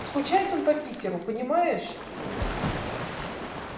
скучает он по питеру понимаешь